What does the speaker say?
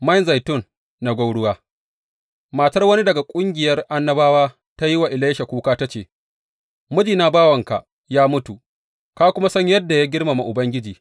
Man zaitun na gwauruwa Matar wani daga ƙungiyar annabawa ta yi wa Elisha kuka ta ce, Mijina, bawanka, ya mutu, ka kuma san yadda ya girmama Ubangiji.